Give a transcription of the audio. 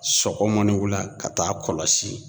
Sɔgɔma ni wula ka t'a kɔlɔsi